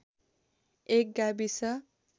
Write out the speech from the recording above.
एक गाविस